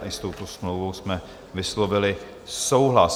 S touto smlouvou jsme vyslovili souhlas.